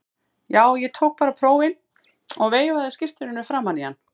Já, ég tók bara prófin og veifaði skírteininu framan í hann.